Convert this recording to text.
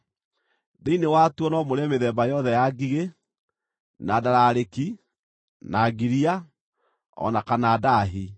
Thĩinĩ wa tuo no mũrĩe mĩthemba yothe ya ngigĩ, na ndararĩki, na ngiria, o na kana ndaahi.